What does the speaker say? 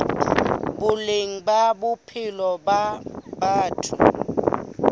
boleng ba bophelo ba batho